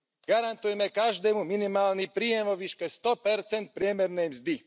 Garantujme každému minimálny príjem vo výške 100 priemernej mzdy.